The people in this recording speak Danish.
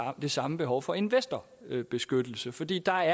det samme behov for investorbeskyttelse fordi der